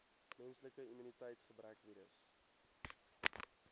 menslike immuniteitsgebrekvirus